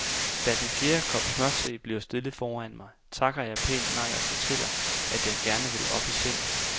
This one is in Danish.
Da den fjerde kop smørte bliver stillet foran mig, takker jeg pænt nej og fortæller, at jeg gerne vil op i seng.